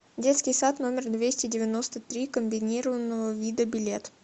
детский сад номер двести девяносто три комбинированного вида билет